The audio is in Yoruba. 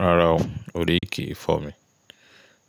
Rárá o, orí kìí fọ́ mi.